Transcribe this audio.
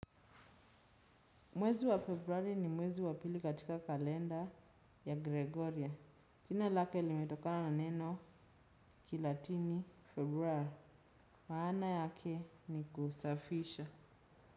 Mwezi wa februari ni mwezi wa pili katika kalenda ya Gregoria. Jina lake limetokana na neno kilatini februa. Maana yake ni kusafisha.